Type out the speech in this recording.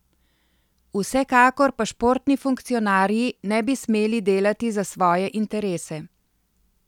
Vsekakor pa športni funkcionarji ne bi smeli delati za svoje interese.